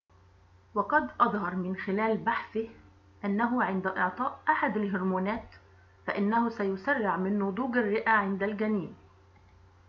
وقد أظهر من خلال بحثه أنه عند إعطاء أحد الهرمونات فإنه سيسرع من نضوج الرئة عند الجنين